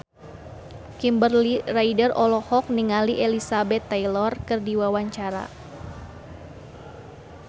Kimberly Ryder olohok ningali Elizabeth Taylor keur diwawancara